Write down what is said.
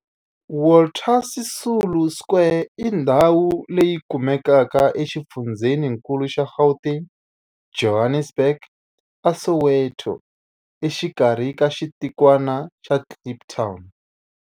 Walter Sisulu Square i ndhawu leyi kumekaka exifundzheninkulu xa Gauteng, Johannesburg, a Soweto, exikarhi ka xitikwana xa Kliptown.